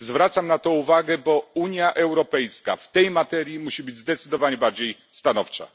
Zwracam na to uwagę, bo Unia Europejska w tej materii musi być zdecydowanie bardziej stanowcza.